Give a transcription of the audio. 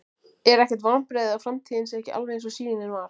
Er ekkert vonbrigði að framtíðin sé ekki alveg eins og sýnin var?